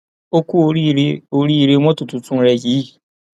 ó ku oríire oríire mọtò tuntun rẹ yìí